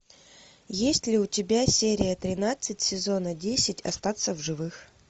есть ли у тебя серия тринадцать сезона десять остаться в живых